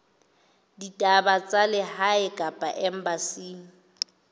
ditaba tsa lehae kapa embasing